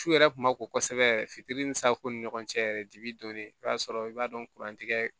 Su yɛrɛ tun ma ko kosɛbɛ yɛrɛ fitiri ni safunɛ ni ɲɔgɔn cɛ yɛrɛ dibi donnen i b'a sɔrɔ i b'a dɔn kuran tigɛ